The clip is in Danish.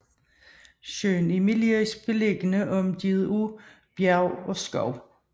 Søen er melerisk beliggende omgivet af bjerge og skove